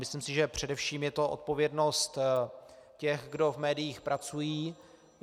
Myslím si, že především je to odpovědnost těch, kdo v médiích pracují.